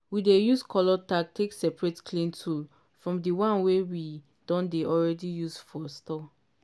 we dey use colour tag take separate clean tool from di one wey we don already use for store.